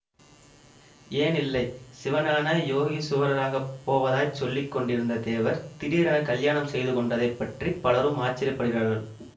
ஏன் இல்லை சிவஞான யோகீசுவரராகப் போவதாய்ச் சொல்லி கொண்டிருந்தத் தேவர் திடீரென்று கலியாணம் செய்து கொண்டதைப் பற்றி பலரும் ஆச்சரியப்படுகிறார்கள்